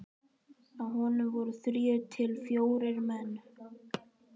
Á honum voru þrír til fjórir menn.